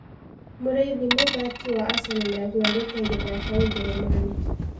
Mũrĩithi mũthaki wa Acenoo nĩagurarĩte agĩthakĩra ũjerumani